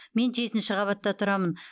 мен жетінші қабатта тұрамын